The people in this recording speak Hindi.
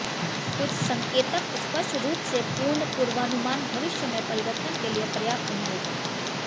कुछ संकेतक स्पष्ट रूप से पूर्ण पूर्वानुमान भविष्य में परिवर्तन के लिए पर्याप्त नहीं होगा